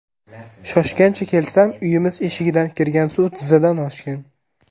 Shoshgancha kelsam, uyimiz eshigidan kirgan suv tizzadan oshgan.